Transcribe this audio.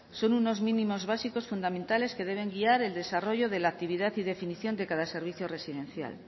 son unos mínimos básicos fundamentales que deben guiar el desarrollo de la actividad y definición de cada servicio residencial